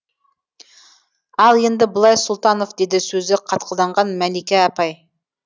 ал енді былай сұлтанов деді сөзі қатқылданған мәликә апай